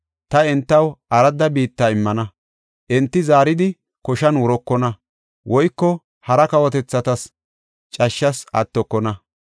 Ta entaw aradda biitta immana; enti zaaridi koshan wurokona; woyko hara kawotethatas cashshas attokona.